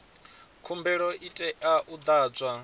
khumbelo i tea u ḓadzwa